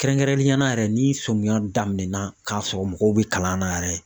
Kɛrɛnkɛrɛnnenyala yɛrɛ ni sɔmiya daminɛna k'a sɔrɔ mɔgɔw be kalan na yɛrɛ.